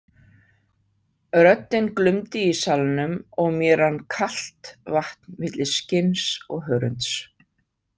Röddin glumdi í salnum og mér rann kalt vatn milli skinns og hörunds.